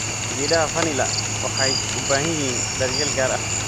Geedaha vanila waxay u baahan yihiin daryeel gaar ah.